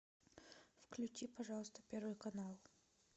включи пожалуйста первый канал